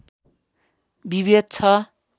विभेद छ